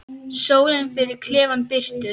Sólin fyllir klefann birtu.